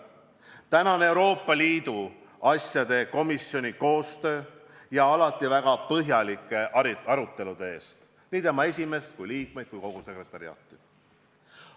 Tänan Euroopa Liidu asjade komisjoni koostöö ja alati väga põhjalike arutelude eest, tänan tema esimeest, liikmeid ja ka kogu sekretariaati.